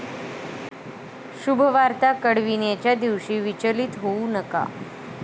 शुभवार्ता कळविण्याच्या दिवशी विचलित होऊ नका